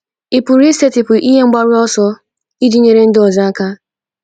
Ị̀ pụrụ isetịpụ ihe mgbaru ọsọ iji nyere ndị ọzọ aka?